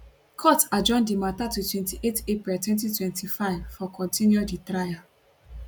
court adjourn di matter to 28 april 2025 for continue di trial